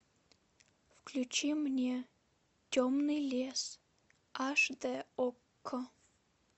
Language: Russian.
включи мне темный лес аш д окко